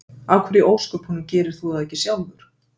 Af hverju í ósköpunum gerir þú það ekki sjálfur?